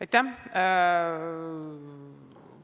Aitäh!